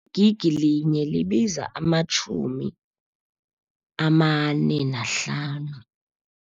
I-gig linye libiza amatjhumi amane nahlanu.